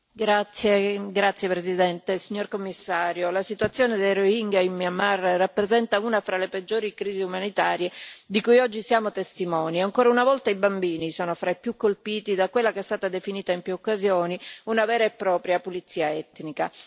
Signor Presidente, onorevoli colleghi, signor Commissario, la situazione dei Rohingya in Myanmar rappresenta una fra le peggiori crisi umanitarie di cui oggi siamo testimoni. Ancora una volta i bambini sono fra i più colpiti da quella che è stata definita, in più occasioni, una vera e propria pulizia etnica.